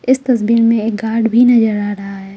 इस तस्वीर में एक गार्ड भी नजर आ रहा है।